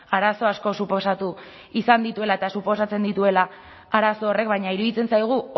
arazo asko suposatu izan dituela eta suposatzen dituela arazo horrek baina iruditzen zaigu